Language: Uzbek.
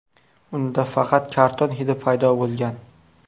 Unda faqat karton hidi paydo bo‘lgan.